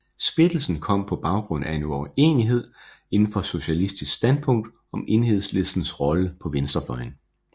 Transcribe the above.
Splittelsen kom på baggrund af en uenighed indenfor Socialistisk Standpunkt om Enhedslistens rolle på venstrefløjen